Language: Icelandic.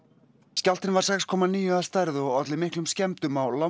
skjálftinn var sex komma níu að stærð og olli miklum skemmdum á